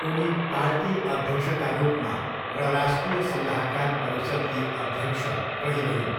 उनी पार्टी अध्यक्षका रूपमा र राष्ट्रिय सल्लाहकार परिषद्की अध्यक्ष रहिरहिन्।